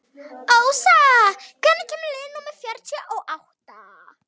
Ósa, hvenær kemur leið númer fjörutíu og átta?